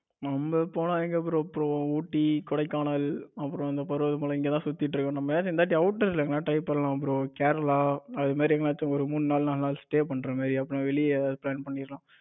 நம்ம போலாம் bro trip Ooty, Kodaikanal அப்புறம் இந்த பருவதமலை இங்கத சுத்திட்டு இர்ருக்கோ நம்மள எங்கியாச்சும் outter எங்கேயாவது try பண்ணலாம் bro கேரளா அது மாதிரி எங்கியாச்சும் ஒரு மூணு நாள் நாலு நாள் Stay பண்ற மாதிரி வெளியே எங்கேயாவது plan பண்ணிடலாம்.